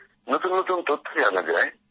নতুন নতুন তথ্য জানা যায়